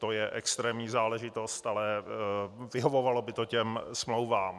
To je extrémní záležitost, ale vyhovovalo by to těm smlouvám.